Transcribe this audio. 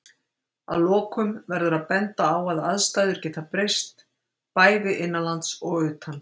Að lokum verður að benda á að aðstæður geta breyst, bæði innanlands og utan.